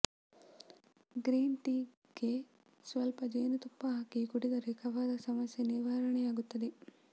green ಟೀಗೆ ಸ್ವಲ್ಪ ಜೇನುತುಪ್ಪ ಹಾಕಿ ಕುಡಿದರೆ ಕಫದ ಸಮಸ್ಯೆ ನಿವಾರಣೆಯಾಗುತ್ತದೆ